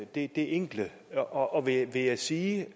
det enkle og og vil jeg sige